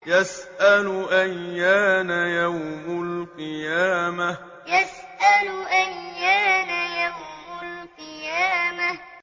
يَسْأَلُ أَيَّانَ يَوْمُ الْقِيَامَةِ يَسْأَلُ أَيَّانَ يَوْمُ الْقِيَامَةِ